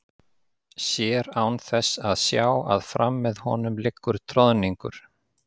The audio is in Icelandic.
Sér án þess að sjá að fram með honum liggur troðningur.